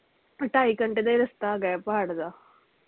ਢਾਈ ਘੰਟੇ ਦਾ ਹੀ ਰਸਤਾ ਹੈਗਾ ਪਹਾੜ ਦਾ